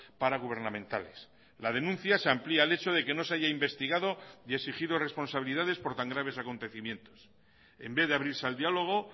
paragubernamentales la denuncia se amplía el hecho de que no se haya investigado y exigido responsabilidades por tan graves acontecimientos en vez de abrirse al diálogo